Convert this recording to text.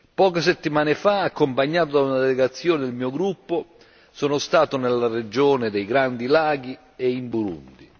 Poche settimane fa, accompagnato da una delegazione del mio gruppo, sono stato nella regione dei Grandi Laghi e in Burundi.